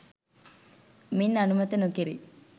මින් අනුමත නොකෙරේ